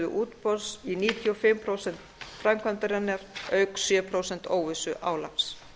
útboðs í níutíu og fimm prósent framkvæmdarinnar auk sjö prósent óvissuálags